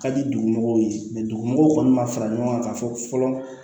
Ka di dugumɔgɔw ye dugumɔgɔw kɔni ma fara ɲɔgɔn kan ka fɔ fɔlɔ